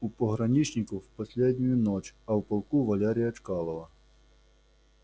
у пограничников последнюю ночь а в полку валерия чкалова